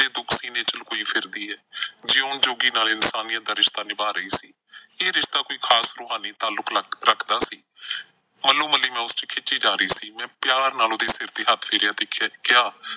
ਦੁੱਖ ਸੀਨ੍ਹੇ ਚ ਲੁਕੋਈ ਫਿਰਦੀ ਐ। ਜਿਓਣ ਜੋਗੀ ਨਾਲ ਇਨਸਾਨੀਅਤ ਦਾ ਰਿਸ਼ਤਾ ਨਿਭਾ ਰਹੀ ਸੀ। ਇਹ ਰਿਸ਼ਤਾ ਕੋਈ ਖ਼ਾਸ ਰੂਹਾਂ ਲਈ ਤਾਲੁਕ ਰੱਖਦਾ ਸੀ। ਮੱਲੋਮੱਲੀ ਮੈਂ ਉਸ ਚ ਖਿੱਚੀ ਜਾ ਰਹੀ ਸੀ, ਮੈਂ ਪਿਆਰ ਨਾਲ ਉਹਦੇ ਸਿਰ ਤੇ ਹੱਥ ਫੇਰਿਆ ਤੇ ਕਿਹਾ।